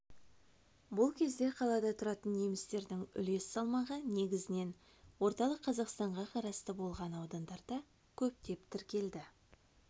бұл кезде қалада тұратын немістердің үлес салмағы негізінен орталық қазақстанға қарасты болған аудандарда көптеп тіркелді